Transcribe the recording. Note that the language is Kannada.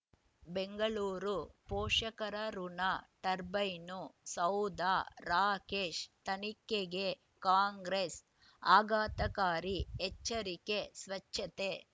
ಬೆಂಗಳೂರು ಪೋಷಕರಋಣ ಟರ್ಬೈನು ಸೌಧ ರಾಕೇಶ್ ತನಿಖೆಗೆ ಕಾಂಗ್ರೆಸ್ ಆಘಾತಕಾರಿ ಎಚ್ಚರಿಕೆ ಸ್ವಚ್ಛತೆ